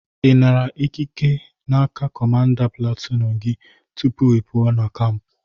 Ị nara ike n'aka kọmanda platunu gị tupu ipụa na kamp?